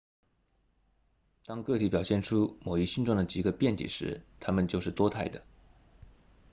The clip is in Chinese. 当个体表现出某一性状的几个变体时它们就是多态的